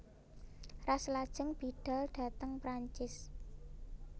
Ras lajeng bidhal dhateng Prancis